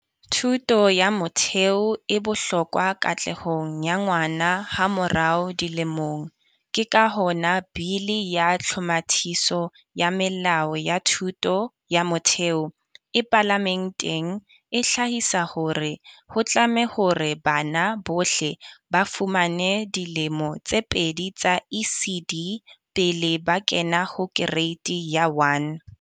Thuto ya motheo e bohlokwa katlehong ya ngwana hamorao dilemong, ke ka hona Bili ya tlhomathiso ya melao ya Thuto ya Motheo e palamenteng. E hlahisa hore ho tlame hore bana bohle ba fumane dilemo tse pedi tsa ECD pele ba kena ho kereiti ya 1.